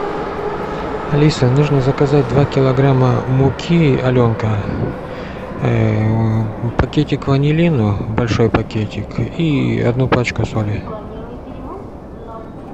алиса нужно заказать два килограмма муки аленка пакетик ванилина большой пакетик и одну пачку соли